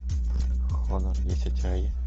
хонор десять ай